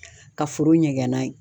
Ka foro ɲɛgɛn n'a ye.